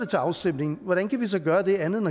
til afstemning hvordan kan vi så gøre det andet end